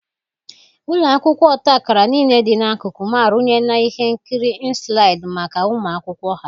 Ụlọ akwụkwọ ọta akara niile dị n'akụkụ m arụnyela ihe nkiri nslaịdị maka ụmụ akwụkwọ ha.